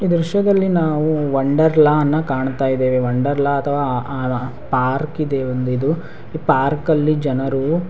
ಈ ದ್ರಶ್ಯದಲ್ಲಿ ನಾವು ವಂಡರ್ಲಾ ನ್ ಕಾಣ್ತಾ ಇದೇವೆ ವಂಡರ್ಲಾ ಅಥವಾ ಆಆ ಪಾರ್ಕಿದೆ ಒಂದ ಇದು ಈ ಪಾರ್ಕಲ್ಲಿ ಜನರು--